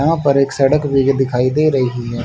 यहाँ पर एक भीगे सड़क भी दिखाई दे रहीं हैं।